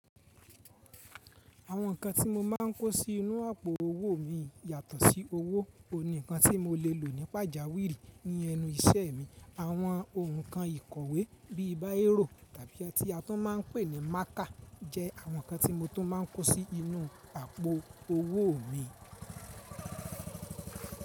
Àwọn nǹkan tí mo máa ń kó sí inú àpò owó mi yàtọ̀ sí owó. Òun nìkan tí mo lè lò nípa jáwiri ní ẹnu iṣẹ́ mi. Àwọn nǹkan ìkọ̀wé bíi báẹ́rò tàbí tí a tún máa ń pè ní mákà jẹ́ àwọn nǹkan tí mo tún máa ń kó sí inú àpò owó mi.